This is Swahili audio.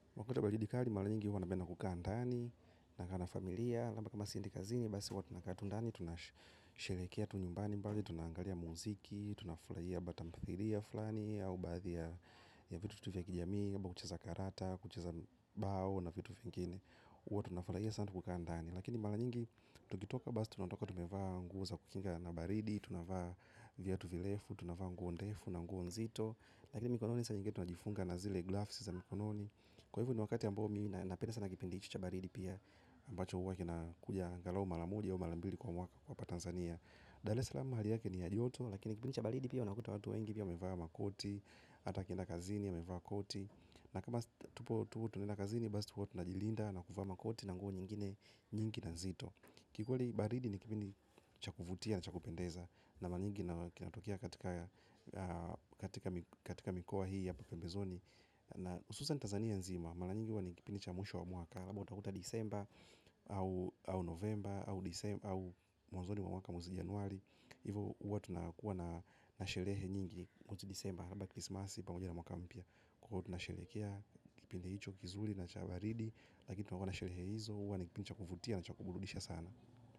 Wakati wa baridi kali, mala nyingi huwa nabenda kukaa ndani, nakaa na familia. Labda kama siendi kazini, basi huwa tu nakaa tu ndani, tunasherekea tu nyumbani mbali, tunangalia muziki, tunafulaia batamfidia fulani, au badia ya vitu tutu vya kijami, kuchaza karata, kuchaza bao na vitu fengine. Watu nafulaiya sana kukaa ndani. Lakini mala nyingi, tukitoka, basi tunatoka tumevaa nguza kukinga na baridi, tunavaa vya tuvilefu, tunavaa nguondefu na nguondzito. Lakini mikononi sa nyingi tunajifunga na zile grafisi za mikononi. Kwa hivu ni wakati ya mbomi na penda sana kipendi ichi chabaridi pia. Mbacho uwa kina kuja angalau malamudi ya umalambudi kwa mwaka kwa Tanzania Dar eslamu hali yake ni adioto. Lakini kipendi chabaridi pia unakuta watu wengi pia umevaa makoti. Hata kina kazini umevaa koti. Na kama tupo tunenakazini basa tupo na jilinda. Na kufa makoti na nguo nyingine nyingi na nzito. Kikuli baridi ni kipendi chakuvutia na chakupendeza. Na manyingi na kinatukia katika mikoa hii ya papembezoni. Na ususa ni Tanzania nzima, malanyingi wani kipinicha mwisho wa mwaka haba utakuta disemba, au novemba, au disemba, au mwazoni mwaka mwuzi januari. Hivo uwa tunakuwa na nasherehe nyingi kutu disemba, halaba krismasi, panguja na mwaka mpia. Kukutu nasherekea, kipinicha hicho kizuri na chawaridi. Lakitu nakuwa na nasherehe hizo, uwa nikipinicha kufutia na cha kubuludisha sana.